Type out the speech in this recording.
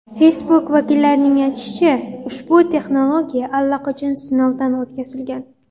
Facebook vakillarining aytishicha, ushbu texnologiya allaqachon sinovdan o‘tkazilgan.